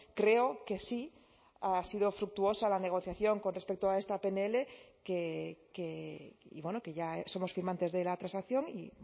creo que sí ha sido fructuosa la negociación con respecto a esta pnl que ya somos firmantes de la transacción y